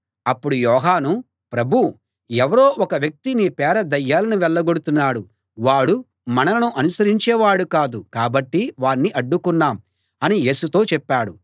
అప్పుడు యోహాను ప్రభూ ఎవరో ఒక వ్యక్తి నీ పేర దయ్యాలను వెళ్ళగొడుతున్నాడు వాడు మనలను అనుసరించేవాడు కాదు కాబట్టి వాణ్ణి అడ్డుకున్నాం అని యేసుతో చెప్పాడు